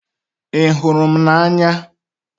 Ị hụrụ m n'anya?